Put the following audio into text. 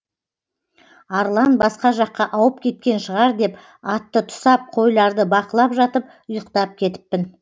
арлан басқа жаққа ауып кеткен шығар деп атты тұсап қойларды бақылап жатып ұйықтап кетіппін